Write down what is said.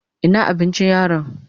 Ina abincin yaron?